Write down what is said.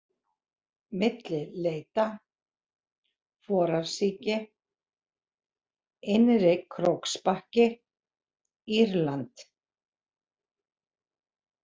Milli Leita, Forarsíki, Innri-Króksbakki, Írland